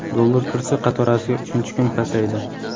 Dollar kursi qatorasiga uchinchi kun pasaydi.